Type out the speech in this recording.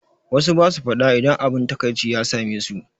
Wassu basu faɗa idan abun taƙaici ya same su